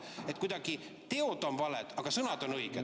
Teod on kuidagi valed, aga sõnad on õiged.